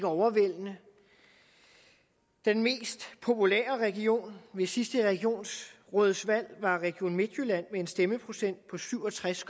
overvældende den mest populære region ved sidste regionsrådsvalg var region midtjylland med en stemmeprocent på syv og tres